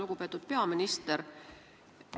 Lugupeetud peaminister!